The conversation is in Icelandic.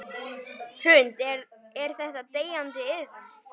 Hrund: Er þetta deyjandi iðn?